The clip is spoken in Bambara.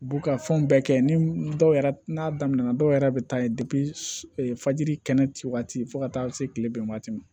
U b'u ka fɛnw bɛɛ kɛ ni dɔw yɛrɛ n'a damina na dɔw yɛrɛ bɛ taa fajiri kɛnɛ waati fo ka taa se kileban ma